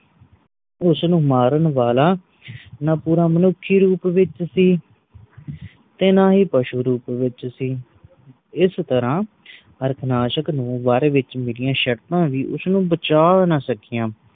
ਉਸ ਨੂੰ ਮਾਰਨ ਵਾਲਾ ਨਾ ਪੂਰਾ ਮਨੁੱਖੀ ਰੂਪ ਵਿਚ ਸੀ ਤੇ ਨਾ ਹੀ ਪਸ਼ੂ ਰੂਪ ਵਿਚ ਸੀ। ਇਸ ਤਰਾਂ ਹਾਰਨਾਸ਼ਕ ਨੂੰ ਵਰ ਵਿਚ ਮਿਲਿਆ ਸ਼ਰਤਾਂ ਵੀ ਉਸ ਨੂੰ ਬਚਾ ਨਾ ਸਕਿਆ